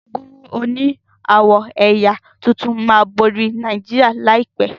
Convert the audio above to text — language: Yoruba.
Gúgúrú òní awọ ẹyà títún má bori ní Nàìjíríà láìpé.